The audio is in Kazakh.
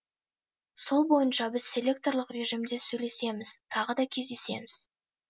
сол бойынша біз селекторлық режимде сөйлесеміз тағы да кездесеміз